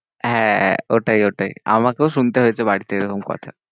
হ্যাঁ হ্যাঁ, ওটাই ওটাই আমাকেও শুনতে হয়েছে বাড়িতে এরম কথা।